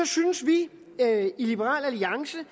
synes vi i liberal alliance